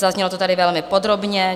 Zaznělo to tady velmi podrobně.